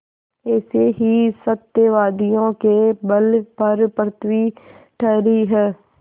ऐसे ही सत्यवादियों के बल पर पृथ्वी ठहरी है